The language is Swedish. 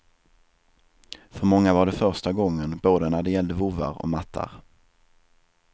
För många var det första gången, både när det gällde vovvar och mattar.